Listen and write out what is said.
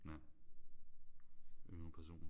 Ja. Yngre personer